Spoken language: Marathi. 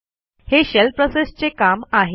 हे शेल प्रोसेसचे काम आहे